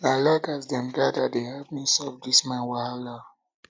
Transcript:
um i like um as dem gather dey help me solve dis my wahala